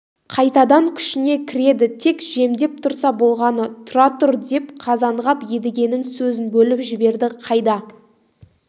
қайтадан күшіне кіреді тек жемдеп тұрса болғаны тұра тұр деп қазанғап едігенің сөзін бөліп жіберді қайда